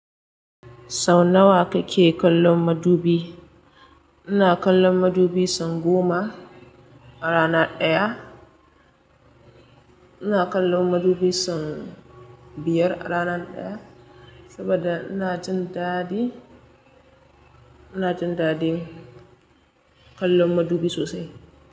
Sau nawa kake kallon madubi? Ina kallon madubi sau goma a rana ɗaya. Ina kallon madubi sau biyar a rana ɗaya saboda ina jin daɗi, ina jin daɗin kallon madubi sosai.